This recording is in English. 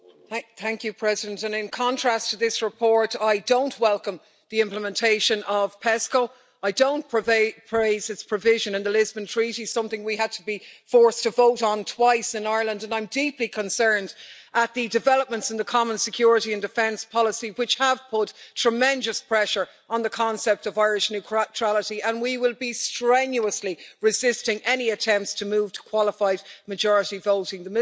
Madam President, in contrast to this report, I don't welcome the implementation of PESCO, I don't praise its provision in the Lisbon Treaty something we had to be forced to vote on twice in Ireland and I'm deeply concerned at the developments in the common security and defence policy, which have put tremendous pressure on the concept of Irish neutrality, and we will be strenuously resisting any attempts to move to qualified majority voting.